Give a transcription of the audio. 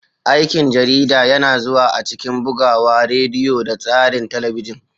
Aikin jarida yana zuwa a cikin bugawa, rediyo, da tsarin talabijin.